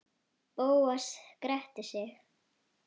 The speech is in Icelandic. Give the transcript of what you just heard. Bóas gretti sig.